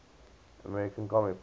american comic book